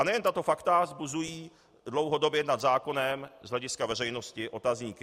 A nejen tato fakta vzbuzují dlouhodobě nad zákonem z hlediska veřejnosti otazníky.